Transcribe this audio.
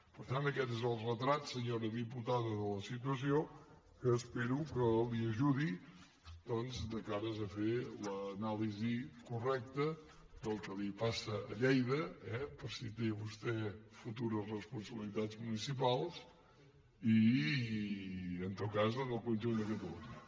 per tant aquest és el retrat senyora diputada de la situació que espero que l’ajudi doncs de cara a fer l’anàlisi correcta del que passa a lleida eh per si té vostè futures responsabilitats municipals i en tot cas en el conjunt de catalunya